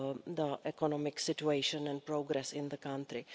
the economic situation and progress in the country.